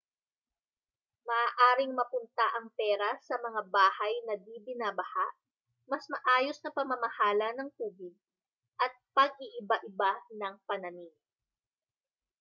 maaaring mapunta ang pera sa mga bahay na di-binabaha mas maayos na pamamahala ng tubig at pag-iiba-iba ng panamim